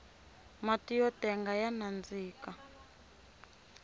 matiyo tenga ya nandika